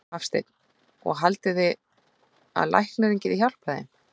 Hafsteinn: Og haldið þið að læknarnir geti hjálpað þeim?